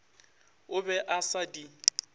a be a sa di